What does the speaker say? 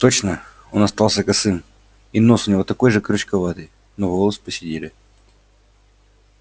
точно он остался косым и нос у него такой же крючковатый но волосы поседели